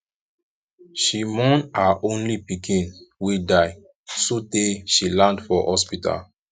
she mourn her only pikin wey die sotee she land for hospital